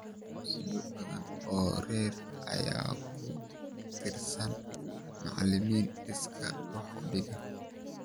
Dugsiyo badan oo rer ayaa ku tiirsan macalimiin iskaa wax u dhiga.